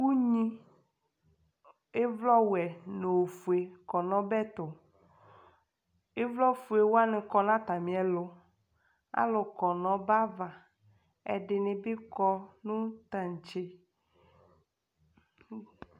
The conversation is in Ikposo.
̵unyi ivlɔ wɛ nu ofoé kɔ nu ɔbɛ tu ivlɔ foe wa ni kɔ na atamiɛlu alu kɔ nɔ ɔbɛava ɛdini bi kɔ nu tatché